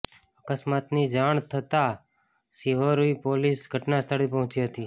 અકસ્માતની જાણ થતાં શિહોરી પોલીસ ઘટના સ્થળે પહોંચી હતી